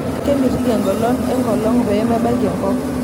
Kemitiki engolon enkolong' pee mebaiki enkop.